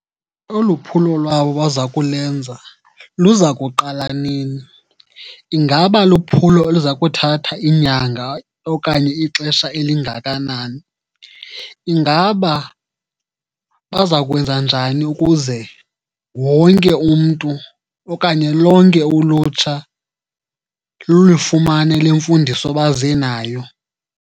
Olu phulo lwabo baza kulenza luzakuqala nini? Ingaba luphulo oluza kuthatha iinyanga okanye ixesha elingakanani? Ingaba bazakwenza njani ukuze wonke umntu okanye lonke ulutsha lulufumane le mfundiso baze nayo?